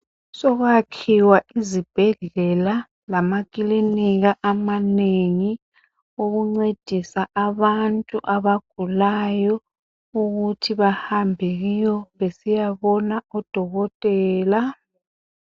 Sokwakhiwa izibhedlela lamaklinika amanengi okuncendisa abantu abagulayo ukuthi bahambe kiwo besiyabona odokotela